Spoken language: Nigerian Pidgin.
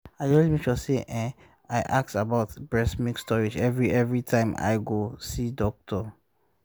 i dey always make sure say ehm i ask about breast milk storage every every time i go see doctor